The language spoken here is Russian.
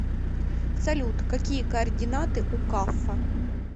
салют какие координаты у каффа